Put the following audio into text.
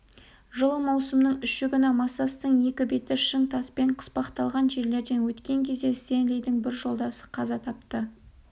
жылы маусымның үші күні массастың екі беті шың таспен қыспақталған жерлерден өткен кезде стенлидің бір жолдасы қаза тапты